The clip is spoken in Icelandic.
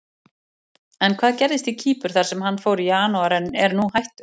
En hvað gerðist í Kýpur þar sem hann fór í janúar en er nú hættur?